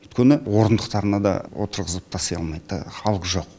өйткені орындықтарына да отырғызып таси алмайды халық жоқ